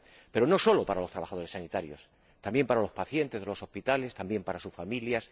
Pero no solo es importante para los trabajadores sanitarios, también para los pacientes de los hospitales, para sus familias.